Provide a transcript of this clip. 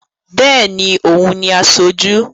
Béèni, o ń ni aṣojú